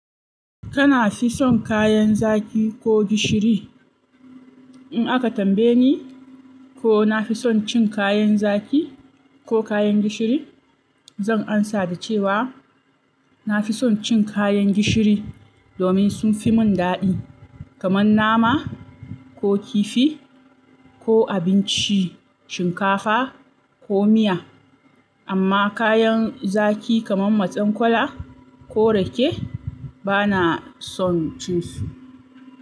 Kana fi son kayan zaki ko gishiri? In aka tambaye ni ko nafi son cin kayan zaki ko kayan gishiri, zan amsa da cewa nafi son cin kayan gishiri domin sun fi mun daɗi kamar nama ko kifi ko abincin shinkafa ko miya. Amma kayan zaki kamar Mazakwaila ko Rake bana son cin su.